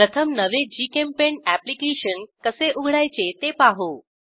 प्रथम नवे जीचेम्पेंट अॅप्लिकेशन कसे उघडायचे ते पाहू